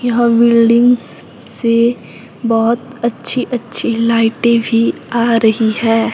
यह बिल्डिंग्स से बहोत अच्छी अच्छी लाइटें भी आ रही है।